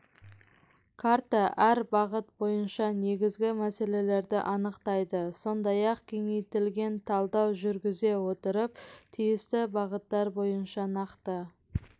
карта әр бағыт бойынша негізгі мәселелерді анықтайды сондай-ақ кеңейтілген талдау жүргізе отырып тиісті бағыттар бойынша нақты